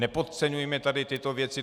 Nepodceňujme tady tyto věci.